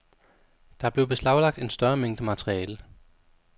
Der blev beslaglagt en større mængde materiale.